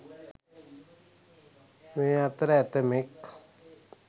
මේ අතර ඇතැමෙක්